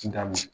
Nga minɛ